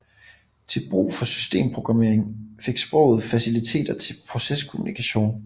Til brug for systemprogrammering fik sproget faciliteter til proceskommunikation